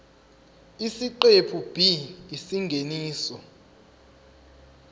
isiqephu b isingeniso